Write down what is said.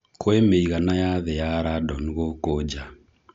Kwĩ mĩigana ya thĩ ya randon gũkũ nja